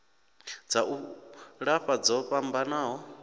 dza u lafha dzo fhambanaho